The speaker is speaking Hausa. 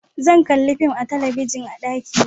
Zan kalla fim a talabijin a daki na